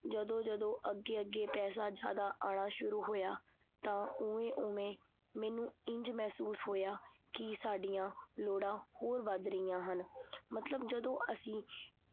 ਜਦੋਂ ਜਦੋਂ ਅਗੇ-ਅਗੇ ਪੈਸਾ ਜਾਦਾ ਆਉਣਾ ਸ਼ੁਰੂ ਹੋਇਆ ਤਾਂ ਓਵੇਂ ਓਵੇਂ ਮੈਨੂੰ ਇੰਝ ਮਹਿਸੂਸ ਹੋਇਆ ਕੀ ਸਾਡੀਆਂ ਲੋੜਾਂ ਹੋਰ ਵੱਧ ਰਹੀਆਂ ਹਨ। ਮਤਲਬ ਜਦੋਂ ਅਸੀਂ